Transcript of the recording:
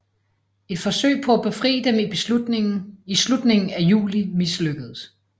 Et forsøg på at befri dem i slutningen af juli mislykkedes